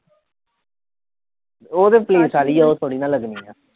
ਉਹ ਤੇ ਪੁਲਿਸ ਵਾਲੀ ਹੈ ਉਹ ਥੋੜ੍ਹੀ ਨਾ ਲੱਗਣੀ ਹੈ